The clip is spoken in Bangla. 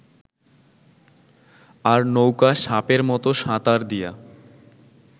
আর নৌকা সাপের মত সাঁতার দিয়া